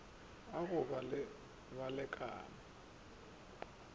a go ba le balekane